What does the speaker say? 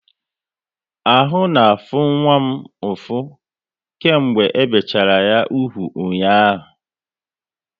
Ahụ na afụ nwa m ụfụ, kemgbe e bichala ya úgwù ụnyaahụ